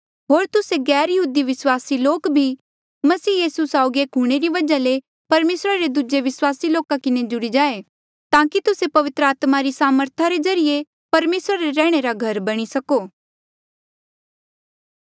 होर तुस्से गैरयहूदी विस्वासी लोक भी मसीह यीसू साउगी एक हूंणे री वजहा ले परमेसरा रे दूजे विस्वासी लोका किन्हें जुड़ी जाएं ताकि तुस्से पवित्र आत्मा री सामर्था रे ज्रीए परमेसरा रे रैहणे रा घर बणी सको